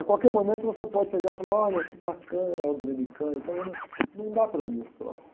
A qualquer momento, você pode chegar e falar, olha, que bacana a ordem dominicana e tal, mas não, não dá para mim esse troço.